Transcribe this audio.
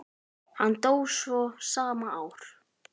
Hann dó svo sama ár.